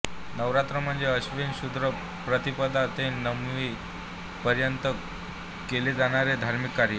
नवरात्र म्हणजे अश्विन शुद्ध प्रतिपदा ते नवमी पर्यंत केले जाणारे धार्मिक कार्ये